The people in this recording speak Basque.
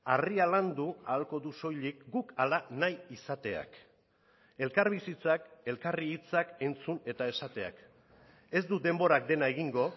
harria landu ahalko du soilik guk hala nahi izateak elkarbizitzak elkarri hitzak entzun eta esateak ez du denborak dena egingo